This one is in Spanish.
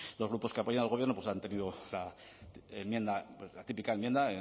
los grupos que apoyan al gobierno pues han tenido la típica enmienda